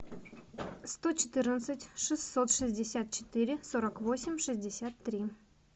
сто четырнадцать шестьсот шестьдесят четыре сорок восемь шестьдесят три